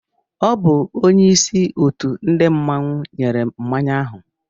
Ọ bu onyeisi òtù ndị mmanwu nyèrè m mmánya áhù